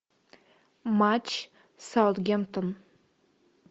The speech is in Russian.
матч саутгемптон